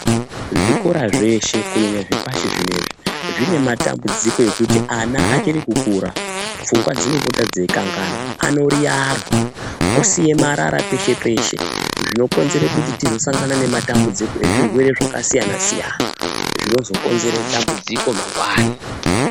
Zvikora zveshe kunyanya zvepashi zvinezvi ,zvine matambudziko ekuti ana achiri kukura ,pfungwa dzinopota dzeikanganwa ,anoriarwa osiya marara peshe peshe zvinokonzere kuti tizosangana nezvirwere zvakasiyana siyana, zvinozokonzere dambudziko mangwani.